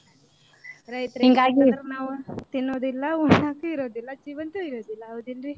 ರೈತರ ಇಲ್ದಿರ ನಾವ ತಿನ್ನೋದು ಇಲ್ಲಾ ಉಣ್ಣೊಕು ಇರೋದಿಲ್ಲಾ ಜೀವಂತು ಇರೋದಿಲ್ಲಾ ಹೌದಿಲ್ರಿ?